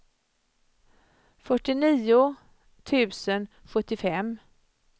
fyrtionio tusen sjuttiofem